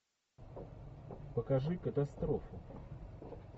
покажи катастрофу